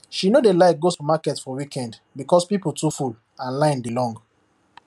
she no dey like go supermarket for weekend because people too full and line dey long